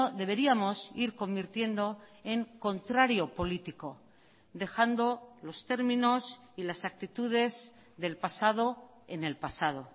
deberíamos ir convirtiendo en contrario político dejando los términos y las actitudes del pasado en el pasado